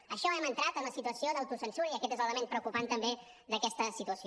amb això hem entrat a una situació d’autocensura i aquest és l’element preocupant també d’aquesta situació